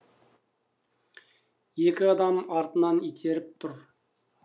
екі адам артынан итеріп жүр